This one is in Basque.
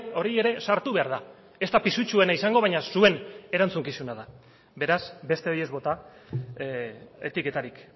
hori ere sartu behar da ez da pisutsuena izango baina zuen erantzukizuna da beraz besteei ez bota etiketarik